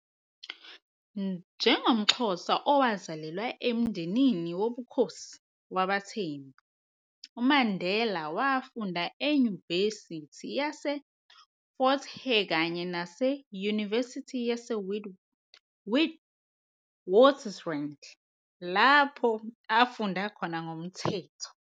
NjengomXhosa owazalelwa emndenini wobukhosi wabaThembu, uMandela wafunda eyunivesithi yase-Fort hare kanye nase-yunivesithi yase-Witwatersrand, lapho afunda khona ngomthetho.